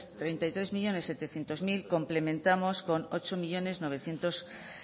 treinta y tres millónes setecientos mil complementamos con ocho millónes